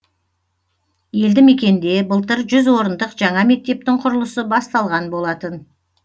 елді мекенде былтыр жүз орындық жаңа мектептің құрылысы басталған болатын